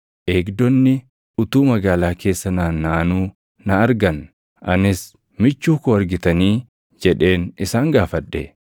Eegdonni utuu magaalaa keessa naannaʼanuu na argan; anis, “Michuu koo argitanii?” jedheen isaan gaafadhe.